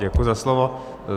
Děkuji za slovo.